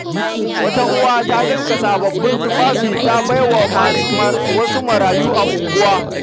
Wata uwa ta dinka sababbin tufafi ta bai wa wasu marayu a unguwa.